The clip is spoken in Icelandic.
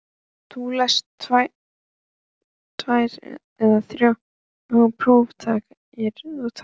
Þú lest þá tvær eða þrjár prófarkir við tækifæri.